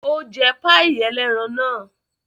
Ó jẹ páíì ẹlẹ́ran náà?